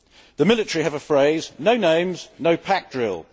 The military have a phrase no names, no pack drill'